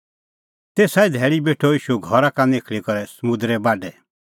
तेसा ई धैल़ी बेठअ ईशू घरा का निखल़ी करै समुंदरे बाढै